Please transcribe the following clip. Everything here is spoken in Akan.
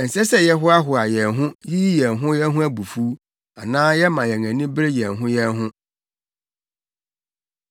Ɛnsɛ sɛ yɛhoahoa yɛn ho, yiyi yɛn ho yɛn ho abufuw, anaa yɛma yɛn ani bere yɛn ho yɛn ho.